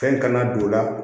Fɛn kana don o la